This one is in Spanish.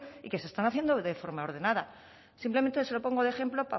y que se están haciendo de forma ordenada simplemente se lo pongo de ejemplo